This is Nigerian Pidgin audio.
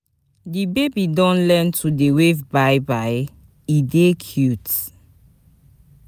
Di baby don learn to dey wave bye-bye, e dey cute.